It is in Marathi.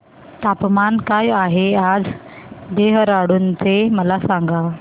तापमान काय आहे आज देहराडून चे मला सांगा